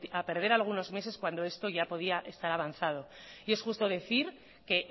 a perder algunos meses cuando esto ya podía estar avanzado y es justo decir que